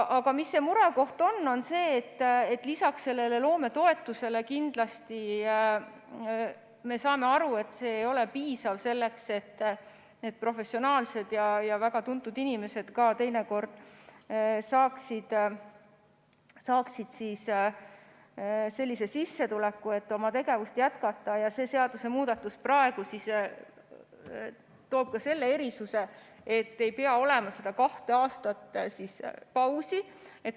Aga murekoht on see, et lisaks sellele loometoetusele – kindlasti me saame aru, et see ei ole piisav selleks, et professionaalsed ja teinekord ka väga tuntud inimesed saaksid sellise sissetuleku, et oma tegevust jätkata – loob see seadusemuudatus ka selle erisuse, et ei pea olema seda kahte aastat pausi.